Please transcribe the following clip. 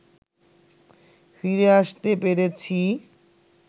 ফিরে আসতে পেরেছি